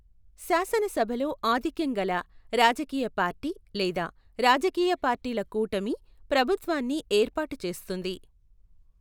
శాసనసభలో ఆధిక్యం గల రాజకీయ పార్టీ లేదా రాజకీయ పార్టీల కూటమి ప్రభుత్వాన్ని ఏర్పాటు చేస్తుంది.